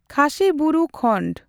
ᱠᱷᱟᱥᱤ ᱵᱩᱨᱩ ᱠᱷᱚᱱᱰᱺ